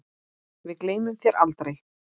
Við gleymum þér aldrei.